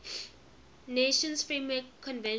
nations framework convention